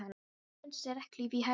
Blómin í vinstri, regnhlíf í hægri.